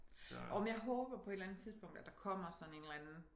Åh men jeg håber på et eller andet tidspunkt at der kommer sådan en eller anden